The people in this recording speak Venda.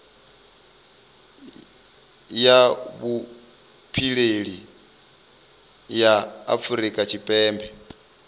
ya vhupileli ya afurika tshipembe